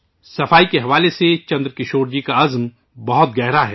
صفائی کے حوالے سے چندرکشور جی کا عزم بہت پختہ ہے